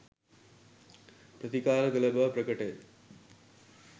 ප්‍රතිකාර කළ බව ප්‍රකටය